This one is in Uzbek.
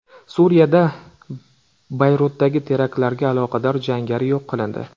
Suriyada Bayrutdagi teraktlarga aloqador jangari yo‘q qilindi.